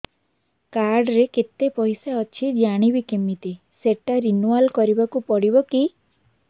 card ରେ କେତେ ପଇସା ଅଛି ଜାଣିବି କିମିତି ସେଟା ରିନୁଆଲ କରିବାକୁ ପଡ଼ିବ କି